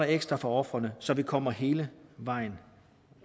ekstra for ofrene så vi kommer hele vejen